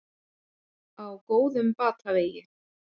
Á góðum batavegi